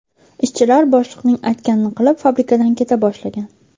Ishchilar boshliqning aytganini qilib, fabrikadan keta boshlagan.